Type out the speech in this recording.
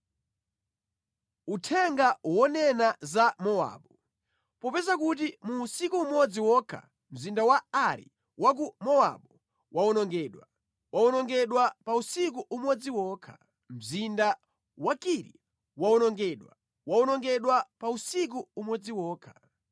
Uthenga wonena za Mowabu: Popeza kuti mu usiku umodzi wokha mzinda wa Ari wa ku Mowabu wawonongedwa, wawonongedwa pa usiku umodzi wokha. Mzinda wa Kiri wawonongedwa, wawonongedwa pa usiku umodzi wokha.